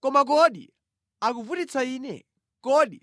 Koma kodi akuvutitsa Ine? Kodi